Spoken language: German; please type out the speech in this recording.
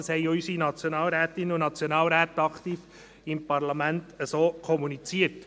Das haben auch unsere Nationalrätinnen und Nationalräte im Parlament aktiv so kommuniziert.